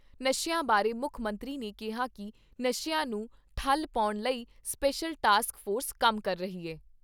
ਨਸ਼ਿਆਂ ਬਾਰੇ ਮੁੱਖ ਮੰਤਰੀ ਨੇ ਕਿਹਾ ਕਿ ਨਸ਼ਿਆਂ ਨੂੰ ਠੱਲ ਪਾਉਣ ਲਈ ਸਪੈਸ਼ਲ ਟਾਸਕ ਫੋਰਸ ਕੰਮ ਕਰ ਰਹੀ ਐ।